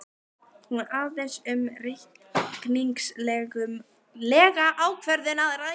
Hér er aðeins um reikningslega ákvörðun að ræða.